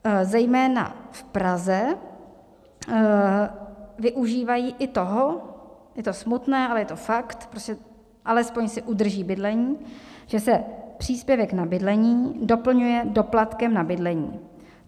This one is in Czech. Zejména v Praze využívají i toho, je to smutné, ale je to fakt, alespoň si udrží bydlení, že se příspěvek na bydlení doplňuje doplatkem na bydlení.